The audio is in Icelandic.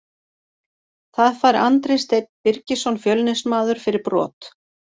Það fær Andri Steinn Birgisson Fjölnismaður fyrir brot.